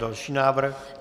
Další návrh.